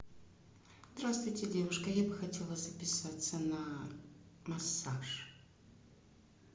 здравствуйте девушка я бы хотела записаться на массаж